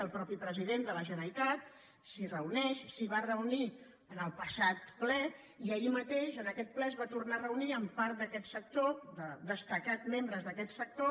el mateix president de la generalitat s’hi reuneix s’hi va reunir en el passat ple i ahir mateix en aquest ple es va tornar a reunir amb part d’aquest sector destacats membres d’aquest sector